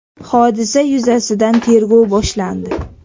Hodisa yuzasidan tergov boshlandi.